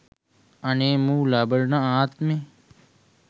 අනේ මූ ලබන ආත්මෙ